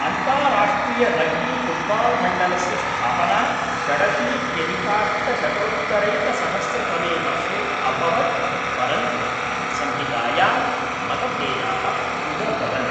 अन्ताराष्ट्रियरग्बीफुट्बाल्मण्डलस्य स्थापना षडशीत्यधिकाष्टशतोत्तरैकसहस्रतमे वर्षे अभवत् परन्तु संहितायां मतभेदाः उदभवन्।